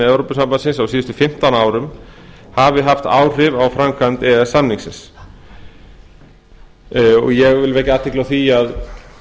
evrópusambandsins á síðustu fimmtán árum hafa haft áhrif á framkvæmd e e s samningsins og ég vil vekja athygli á því að